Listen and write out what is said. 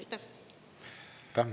Aitäh!